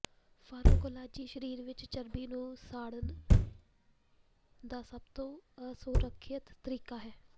pharmacology ਸਰੀਰ ਵਿਚ ਚਰਬੀ ਨੂੰ ਸਾੜਣ ਦਾ ਸਭ ਤੋਂ ਅਸੁਰੱਖਿਅਤ ਤਰੀਕਾ ਹੈ